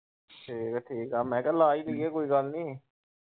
ਠੀਕਾ ਠੀਕਾ, ਮੈਂ ਕਿਹਾ ਲਾ ਲਈ ਏ ਕੋਈ ਗੱਲ ਨੀ।